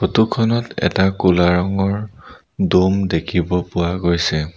Photo খনত এটা ক'লা ৰঙৰ দম দেখিব পোৱা গৈছে।